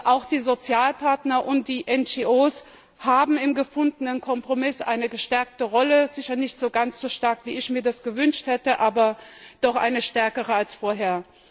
Auch die Sozialpartner und die NGO haben im gefundenen Kompromiss eine gestärkte Rolle sicher nicht ganz so stark, wie ich es mir gewünscht hätte, aber doch eine stärkere als vorher.